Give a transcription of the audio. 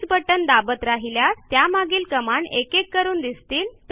तेच बटण दाबत राहिल्यास त्यामागील कमांड एकेक करून दिसतील